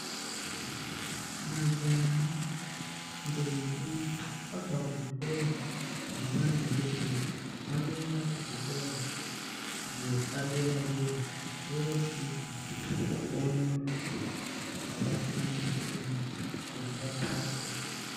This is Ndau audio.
Majaha ndombi abva kuzvikora zvavana vadodori vanoenda kuzvikora zvepadera dera vosvika vonyora zvakasiyana siyana kuti vapase.